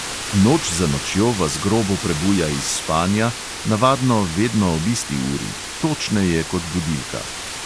Noč za nočjo vas grobo prebuja iz spanja, navadno vedno ob isti uri, točneje kot budilka.